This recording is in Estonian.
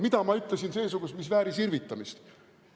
Mida ma ütlesin seesugust, mis vääris irvitamist?